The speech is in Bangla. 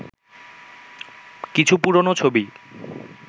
কিছু পুরনো ছবি